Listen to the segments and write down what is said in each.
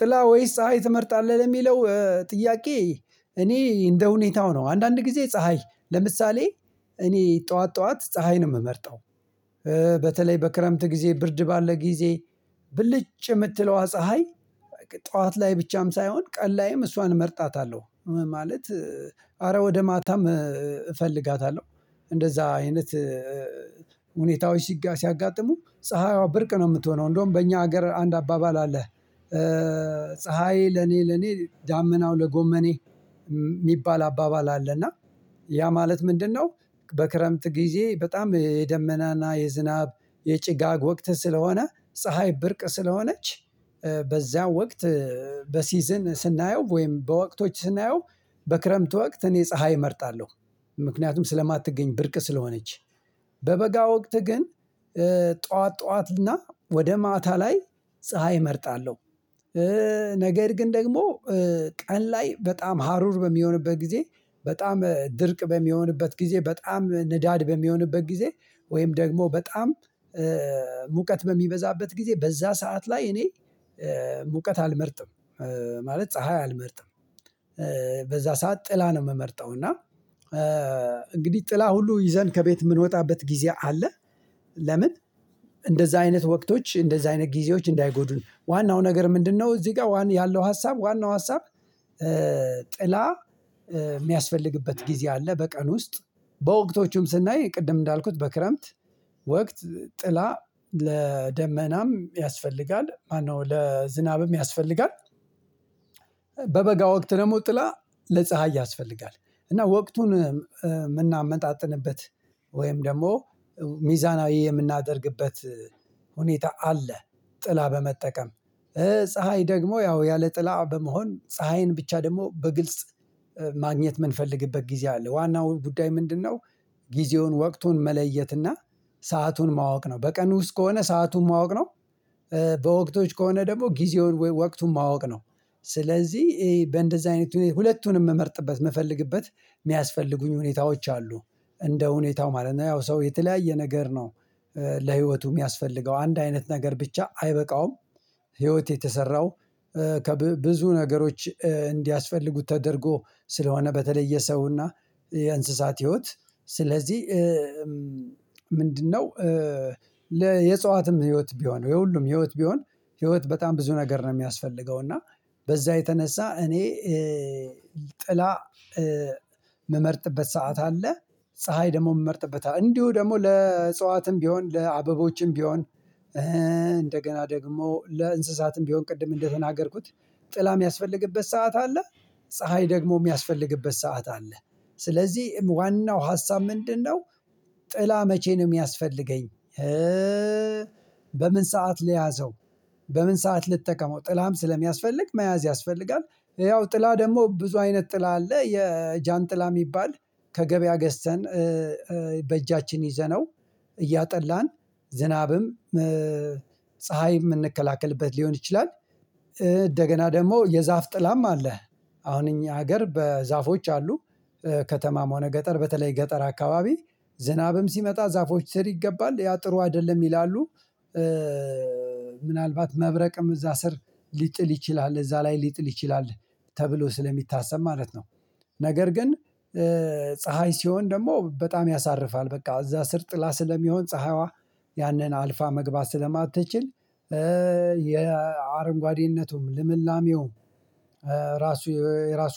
ጥላ ወይስ ፀሀይ ትመርጣለህ ለሚለው ጥያቄ እኔ እንደ ሁኔታው ነው። አንዳንድ ጊዜ ፀሀይ ለምሳሌ እኔ ጠዋት ጠዋት ፀሀይ ነው ምመርጠው። በተለይ በክረምት ጊዜ ብርድ ባለ ጊዜ ብልጭ የምትለዋ ፀሀይ። ጠዋት ላይ ብቻም ሳይሆን ቀን ላይም እሷን እመርጣታለሁ ማለት አረ ወደ ማታም እፈልጋታለሁ። እንደዛ አይነት ሁኔታዎች ሲያጋጥሙኝ ፀሀይዋ ብርቅ ነው የምትሆነው እንደውም በእኛ ሀገር አንድ አባባል አለ። ፀሀይ ለኔ ለኔ ዳመናው ለጎመኔ የሚባል አባባል አለ። እና ያ ማለት ምንድነው? በክረምት ጊዜ በጣም የደመናና የዝናብ የጭጋግ ወቅት ስለሆነ ፀሀይ ብርቅ ስለሆነች በዛ ወቅት በሲዝን ስናየው ወይም በወቅቶች ስናየው በክረምት ወቅት እኔ ፀሀይ እመርጣለሁ። ምክንያቱም ስለማትገኝ ብርቅ ስለሆነች በበጋ ወቅት ግን ጠዋት ጠዋት እና ወደ ማታ ላይ ፀሀይ እመርጣለሁ። ነገር ግን ደግሞ ቀን ላይ በጣም ሀሩር በሚሆንበት ጊዜ በጣም ድርቅ በሚሆንበት ጊዜ በጣም ንዳድ በሚሆንበት ጊዜ ወይም ደግሞ በጣም ሙቀት በሚበዛበት ጊዜ በዛ ሰዓት ላይ እኔ ሙቀት አልመርጥም ማለት ፀሀይ አልመርጥም። በዛ ሰዓት ጥላ ነው የምመርጠው እና። እንግዲህ ጥላ ሁሉ ይዘን ከቤት የምንወጣበት ጊዜ አለ። ለምን? እንደዛ አይነት ወቅቶች እንደዛ አይነት ጊዜዎች እንዳይጎዱኝ ዋናው ነገር ምንድነው እዚህ ጋር ያለው ሀሳብ ዋናው ሀሳብ? ጥላ የሚያስፈልግበት ጊዜ አለ በቀን ውስጥ በወቅቶቹም ስናይ ቅድም እንዳልኩት በክረምት ወቅት ጥላ ለደመናም ያስፈልጋል ማነው ለዝናብም ያስፈልጋል። በበጋ ወቅት ደግሞ ጥላ ለፀሀይ ያስፈልጋል እና ወቅቱን የምናመጣጥንበት ወይም ደግሞ ሚዛናዊ የምናደርግበት ሁኔታ አለ። ጥላ በመጠቀም ፀሀይ ደግሞ ያው ያለ ጥላ በመሆን ፀሀይን ብቻ ደግሞ በግልጽ ማግኘት የምንፈልግበት ጊዜ አለ። ዋናው ጉዳይ ምንድነው? ጊዜውን ወቅቱን መለየትና ሰአቱን ማወቅ ነው በቀን ውስጥ ከሆነ ሰአቱን ማወቅ ነው። በወቅቶች ከሆነ ደግሞ ጊዜውን ወይ ወቅቱን ማወቅ ነው። ስለዚህ በእንደዚህ አይነት ሁለቱንም ምመርጥበት መፈልግበት የሚያስፈልጉኝ ሁኔታዎች አሉ። እንደ ሁኔታው ማለት ነው ያው ሰው የተለያየ ነገር ነው። ለህይወቱ የሚያስፈልገው አንድ አይነት ነገር ብቻ አይበቃውም። ህይወት የተሰራው ብዙ ነገሮች እንዲያስፈልጉት ተደርጎ ስለሆነ በተለየ የሰውና የእንስሳት ህይወት ስለዚህ ምንድነው? የእፅዋትም ህይወት ቢሆን የሁሉም ህይወት ቢሆን ህይወት በጣም ብዙ ነገር ነው የሚያስፈልገው። እና በዛ የተነሳ እኔ ጥላ ምመርጥበት ሰዓት አለ። ፀሀይ ደግሞ የምመርጥበት እንዲሁ ደግሞ ለእጽዋትም ቢሆን ለአበቦችም ቢሆን እንደገና ደግሞ ለእንስሳትም ቢሆን ቅድም እንደተናገርኩት ጥላ የሚያስፈልግበት ሰዓት አለ። ፀሀይ ደግሞ የሚያስፈልግበት ሰዓት አለ። ስለዚህ ዋናው ሀሳብ ምንድነው? ጥላ መቼ ነው የሚያስፈልገኝ? በምን ሰዓት ልያዘው በምን ሰዓት ልጠቀመው ጥላም ስለሚያስፈልግ መያዝ ያስፈልጋል። ያው ጥላ ደግሞ ብዙ አይነት ጥላ አለ የጃንጥላ የሚባል ከገበያ ገዝተን በእጃችን ይዘነው እያጠላን ዝናብም ፀሀይም የምንከላከልበት ሊሆን ይችላል። እንደገና ደግሞ የዛፍ ጥላም አለ። አሁን እኛ ሀገር ዛፎች አሉ። ከተማም ሆነ ገጠር በተለይ ገጠር አከባቢ ዝናብም ሲመጣ ዛፎች ስር ይገባል ያ ጥሩ አይደለም ይላሉ። ምናልባት መብረቅም እዛ ስር ሊጥል ይችላል እዛ ላይ ሊጥል ይችላል ተብሎ ስለሚታሰብ ማለት ነው። ነገር ግን ፀሀይ ሲሆን ደግሞ በጣም ያሳርፋል በቃ እዛ ስር ጥላ ስለሚሆን ፀሀይዋ ያንን አልፋ መግባት ስለማትችል። የአረንጓዴነቱ ልምላሜውም እራሱ የራሱ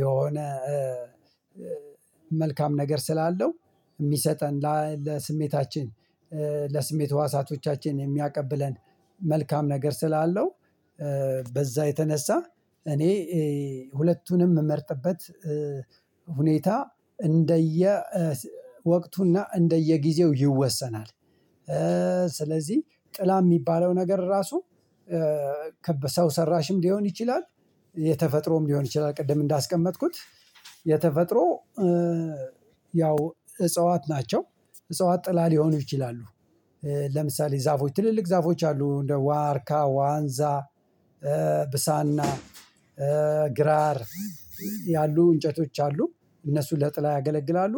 የሆነ መልካም ነገር ስላለው የሚሰጠን ለስሜታችን ለስሜት ህዋሳቶቻችን የሚያቀብለን መልካም ነገር ስላለው። በዛ የተነሳ እኔ ሁለቱንም ምመርጥበት ሁኔታ እንደየ ወቅቱና እንደየጊዜው ይወሰናል። ስለዚህ ጥላ የሚባለው ነገር ራሱ በሰው ሰራሽም ሊሆን ይችላል። የተፈጥሮም ሊሆን ይችላል ቅድም እንዳስቀመጥኩት የተፈጥሮ ያው እጽዋት ናቸው። እጽዋት ጥላ ሊሆኑ ይችላሉ። ለምሳሌ ዛፎች ትልልቅ ዛፎች አሉ እንደ ዋርካ ዋንዛ ብሳና ግራር ያሉ እንጨቶች አሉ። እነሱ ለጥላ ያገለግላሉ።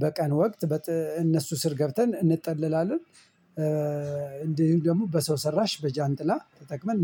በቀን ወቅት እነሱ ስር ገብተን እንጠለላለን። እንዲህም ደግሞ በሰው ሰራሽ በጃንጥላ ተጠቅመን